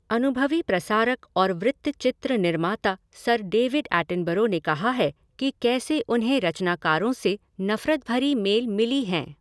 अनुभवी प्रसारक और वृत्तचित्र निर्माता सर डेविड एटनबरो ने कहा है कि कैसे उन्हें रचनाकारों से नफरत भरी मेल मिली हैं।